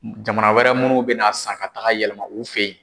Jamana wɛrɛ munnu bɛ n'a san ka taga yɛlɛma u fɛ ye.